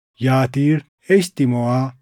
Yatiir, Eshtimoʼaa,